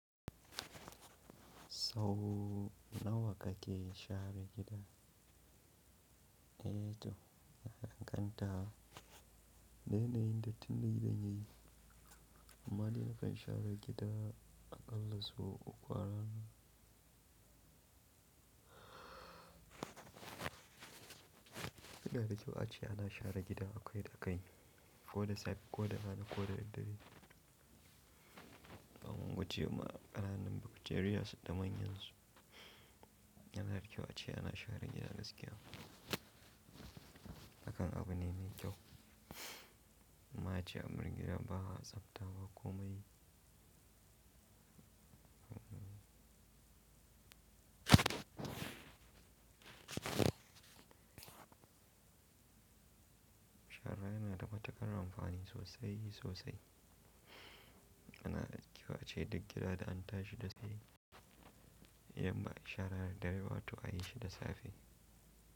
Sau nawa kake share gida? Eh to, ya danganta. Da yanayin dattin da gidan yayi. Amma dai nakan share gida aƙalla sau uku a rana. Yana da kyau ace ana share gida akwai takalmi, ko da safe ko da rana ko da daddare. Domin guje ma ƙananun bacteria da manyan su. Yana da kyau ace ana share gida daskiya. Hakan abu ne mai kyau. Amma ace abar gida ba a tsabta ba komai. Shara yana da matuƙar amfani sosai sosai. Yanada kyau ace duk gida da an tashi da safe, yamma a share dare wato ayi shi da safe.